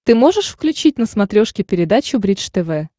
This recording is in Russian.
ты можешь включить на смотрешке передачу бридж тв